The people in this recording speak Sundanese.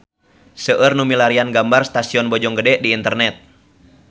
Seueur nu milarian gambar Stasiun Bojonggede di internet